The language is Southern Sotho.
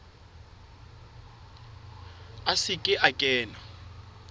a se ke a kena